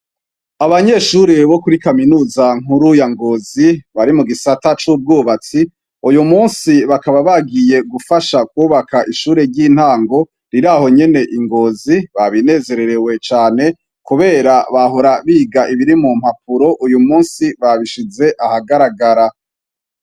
Abanyeshuri bo kuri kaminuza nkuru ya Ngozi bari mu gisata c'ubwubatsi . Uyumunsi bakaba bagiye gufasha kubaka ishuri ry'intango riri ahonyene ingozi babinezererewe cane kubera bahora biga ibiri mu mpapuro uyu munsi babishize ahagaragara.